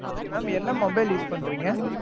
okay mam என்ன mobile use பண்றீங்க?